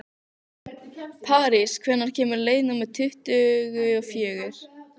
París, hvenær kemur leið númer tuttugu og fjögur?